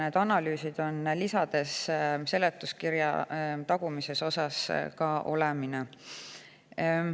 Need analüüsid on lisades seletuskirja tagumises osas olemas.